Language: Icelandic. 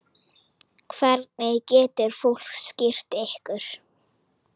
Hvernig getur fólk styrkt ykkur?